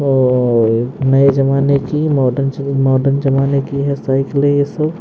और नए जमाने की मॉडर्न मॉडर्न जमाने की है साइकिल ये स--